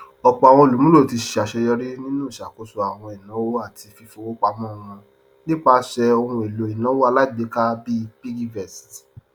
ọpọ àwọn olùmúlò ti ṣàṣeyọrí nínú ìṣàkóso àwọn ináwó àti fífọwó pamọ wọn nípasẹ ohunèlò ináwó alágbèéká bíi piggyvest